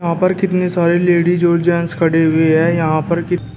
यहां पर कितने सारे लेडिस और जेंट्स खड़ी हुए है यहां पर की--